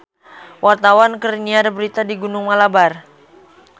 Wartawan keur nyiar berita di Gunung Malabar